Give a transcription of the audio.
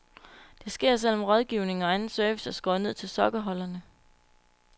Det sker selv om rådgivning og anden service er skåret ned til sokkeholderne.